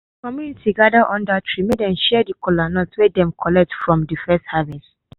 de community gather under tree make dem share de kolanut wey dem collect from de first harvest.